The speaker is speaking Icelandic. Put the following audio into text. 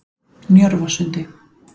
Njörvasundi